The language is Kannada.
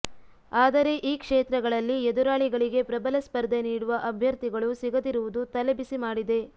ಆದರೆ ಈ ಕ್ಷೇತ್ರಗಳಲ್ಲಿ ಎದುರಾಳಿಗಳಿಗೆ ಪ್ರಬಲ ಸ್ಪರ್ಧೆ ನೀಡುವ ಅಭ್ಯರ್ಥಿಗಳು ಸಿಗದಿರುವುದು ತಲೆಬಿಸಿ ಮಾಡಿದೆ